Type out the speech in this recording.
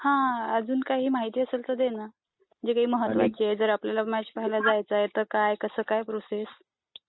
हा अजून काही माहिती असेल तर दे ना. जे महत्वाची आहे. जर आपल्याला मॅच पाहायला जायचं तर काय कसं काय प्रोसेस?